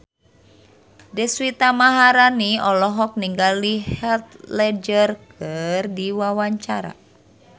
Deswita Maharani olohok ningali Heath Ledger keur diwawancara